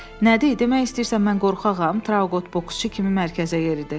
Nə deyir, demək istəyirsən mən qorxağam, Trauqot boksçu kimi mərkəzə yeridi.